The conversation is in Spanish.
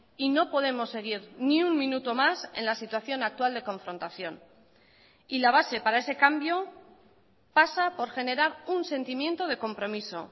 y no podemos seguir ni un minuto más en la situación actual de confrontación y la base para ese cambio pasa por generar un sentimiento de compromiso